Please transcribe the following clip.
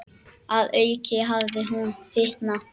Að auki hafði hún fitnað.